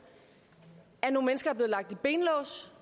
at nogle mennesker er lagt i benlås